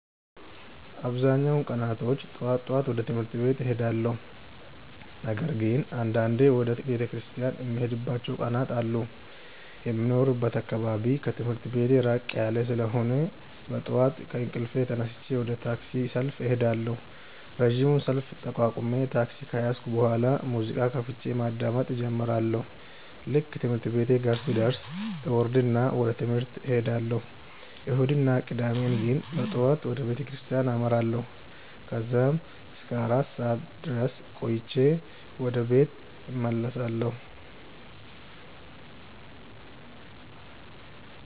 አብዛኛውን ቀናቶች ጠዋት ጠዋት ወደ ትምህርት ቤት እሄዳለሁ። ነገር ግን አንዳንዴ ወደ ቤተክርስቲያን የምሄድባቸው ቀናት አሉ። የሚኖርበት አካባቢ ከትምህርት ቤቴ ራቅ ያለ ስለሆነ በጠዋት ከእንቅልፌ ተነስቼ ወደ ታክሲ ሰልፍ እሄዳለሁ። ረጅሙን ሰልፍ ተቋቁሜ ታክሲ ከያዝኩ በኋላ ሙዚቃ ከፍቼ ማዳመጥ እጀምራለሁ። ልክ ትምህርት ቤቴ ጋር ስደርስ እወርድና ወደ ትምህርት እሄዳለሁ። እሁድ እና ቅዳሜ ግን በጠዋት ወደ ቤተክርስቲያን አመራለሁ። ከዛም እስከ አራት ሰዓት ድረስ ቆይቼ ወደ ቤት እመለሳለሁ።